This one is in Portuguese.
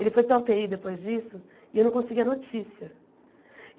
Ele foi para a ú tê í depois disso e eu não conseguia notícia.